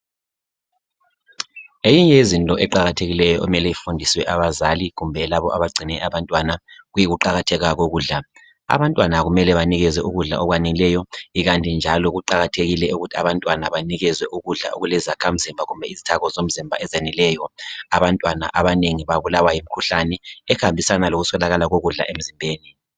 Eyinye yezinto eqakathekileyo okumele ifundiswe abazali kumbe labo bagcine abantwana kuyiku qakatheka kokudla. Abantwana kumele banikezwe ukudla okwaneleyo ikanti njalo abantwana banikezwe ukudla okulezakha mzimba ezaneleyo abantwana abanengi babulawa yimkhuhlane ehambisana lokuswelakala kokudla emzimbeni.